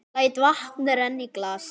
Læt vatn renna í glasið.